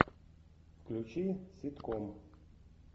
включи ситком